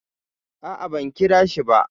A'a, ban kirashi ba.